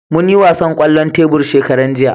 Mun yi wasan kwallon tebur shekaran jiya